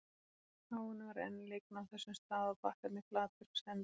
Áin var enn lygn á þessum stað og bakkarnir flatir og sendnir.